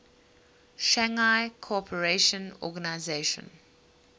shanghai cooperation organization